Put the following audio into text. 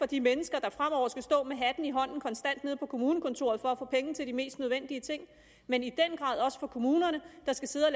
de mennesker der fremover konstant skal stå med hatten i hånden nede på kommunekontoret for at få penge til de mest nødvendige ting men i den grad også for kommunerne der skal sidde og